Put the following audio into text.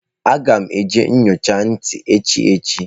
Aga m aga nyocha ntị echi echi